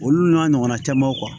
Olu n'a ɲɔgɔnna camanw